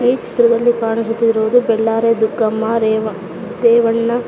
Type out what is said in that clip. ಈ ಚಿತ್ರದಲ್ಲಿ ಕಾಣಿಸುತ್ತಿರುವುದು ಬೆಳ್ಳಾರಿ ದುಗ್ಗಮ್ಮ ರೇವ ರೇವಣ್ಣ --